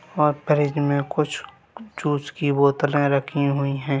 और फ्रिज में कुछ जूस की बोतलें रखी हुई है।